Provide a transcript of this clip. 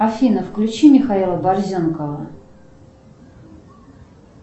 афина включи михаила борзенкова